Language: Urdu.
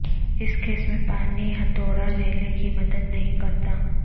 اس کیس میں پانی ہتھوڑا ریلے کی مدد نہیں کرتا